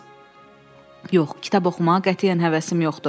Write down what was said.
"Yox, kitab oxumağa qətiyyən həvəsim yoxdur."